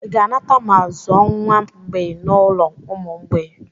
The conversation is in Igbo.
I ga-anata ma zụọ nwa mgbei n'ulo ụmụ mgbei?